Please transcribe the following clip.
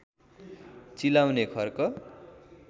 चिलाउने खर्क